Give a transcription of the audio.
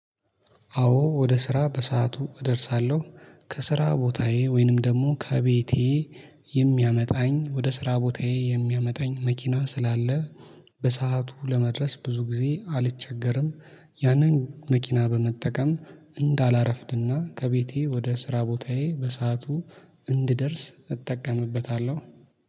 አዎ ወደ ስራ በሰአቱ እደርሳለሁ። ከስራ ቦታዬ ወይንም ደግሞ ከቤቴ የሚያመጣኝ ወደ ስራ ቦታዬ የሚያመጣኝ መኪና ስላለ በሰአቱ ለመድረስ ብዙ ጊዜ አልቸገርም። ያንን መኪና በመጠቀም እንዳላረፍድና ከቤቴ ወደ ስራ ቦታዬ በሰአቱ እንድደርስ እጠቀምበታለሁ።